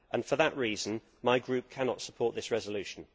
For that reason, my Group cannot support this resolution.